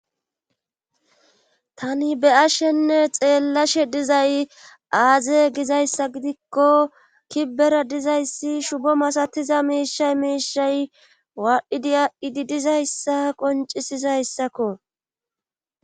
Tani be ashenne xeellashe dizay aaze gizayssa gidikko kibbera dizayssi shubo masatiza miishay miishay waadhdhidi adhidi dizayssa qoncisizayssakko.